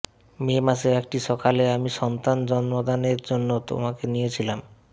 মে মাসের একটি সকালে আমি সন্তান জন্মদানের জন্য তোমাকে নিয়েছিলাম